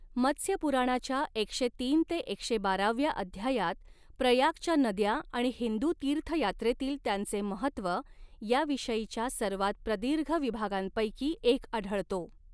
मत्स्य पुराणाच्या एकशे तीन ते एकशे बाराव्या अध्यायात प्रयागच्या नद्या आणि हिंदू तीर्थयात्रेतील त्यांचे महत्त्व याविषयीच्या सर्वात प्रदीर्घ विभागांपैकी एक आढळतो.